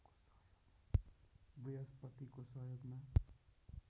बृहस्पतिको सहयोगमा